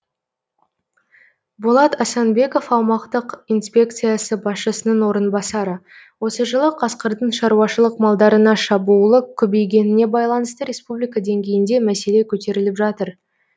болат асанбеков аумақтық инспекциясы басшысының орынбасары осы жылы қасқырдың шаруашылық малдарына шабуылы көбейгеніне байланысты республика деңгейінде мәселе көтеріліп жатыр